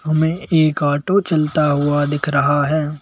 हमें एक ऑटो चलता हुआ दिख रहा है।